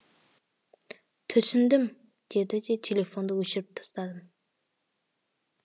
түсіндім деді де телефонды өшіріп тастадым